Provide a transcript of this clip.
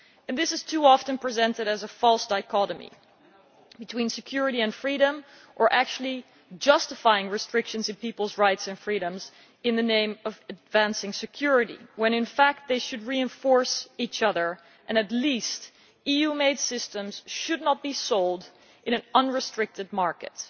This is too often presented as a false dichotomy between security and freedom or actually justifying restrictions to peoples' rights and freedoms in the name of advancing security when in fact they should reinforce each other and, at the very least, EU made systems should not be sold in an unrestricted market.